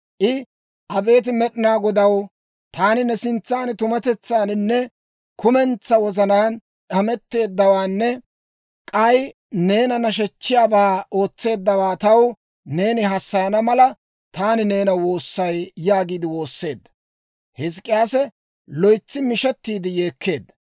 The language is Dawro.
I «Abeet Med'inaa Godaw, taani ne sintsan tumatetsaaninne kumentsaa wozanaan hemetteeddawaanne k'ay neena nashechchiyaabaa ootseeddawaa taw neeni hassayana mala, taani neena woossay» yaagiide woosseedda; Hizk'k'iyaasi loytsi mishettiide yeekkeedda.